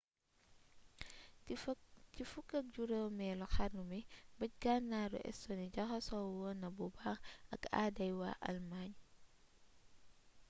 ci 15eelu xarnu bi bëj gànnaaru estonie jaxasoo woon na bu baax ak aaday waa allemagne